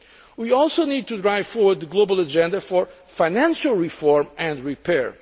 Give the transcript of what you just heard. We also need to drive forward the global agenda for financial reform and repair.